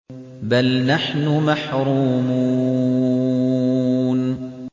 بَلْ نَحْنُ مَحْرُومُونَ